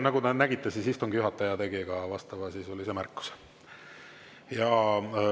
Nagu te nägite, siis istungi juhataja tegi ka vastavasisulise märkuse.